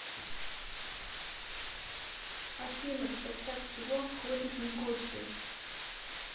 афина в состав чего входит никосия